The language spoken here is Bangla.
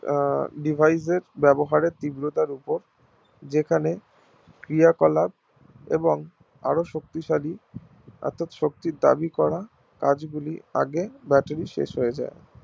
আহ Device এর ব্যবহার তীব্রতার ওপর যেখানে ক্রিয়াকলার এবং আর শক্তিশালী অর্থাৎ শক্তির দাবি করা কাজগুলো আগে battery শেষ হয়ে যায়